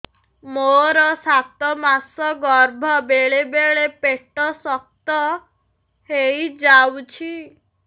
ମୋର ସାତ ମାସ ଗର୍ଭ ବେଳେ ବେଳେ ପେଟ ଶକ୍ତ ହେଇଯାଉଛି